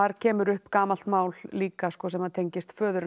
kemur upp gamalt mál líka sem að tengist föður hennar